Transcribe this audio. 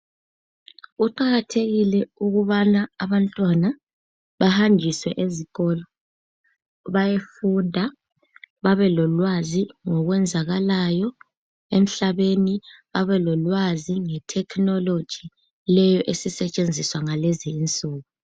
Kuqakathekile ukubana abantwana bahanjiswe ezikolo bayefunda babelolwazi lokwenzakayo emhlabeni babelolwazi nge technology leyo esisetshenziswa kulezinsuku.